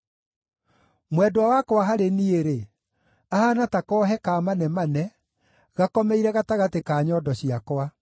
Mwendwa wakwa harĩ niĩ-rĩ, ahaana ta koohe ka manemane gakomeire gatagatĩ ka nyondo ciakwa.